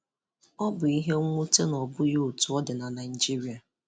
Ọ bụ ihe nwute na ọbụghi otù ọ dị na Naịjirịa.